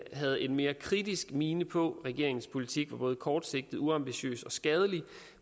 havde en mere kritisk mine på regeringens politik er både kortsigtet uambitiøs og skadelig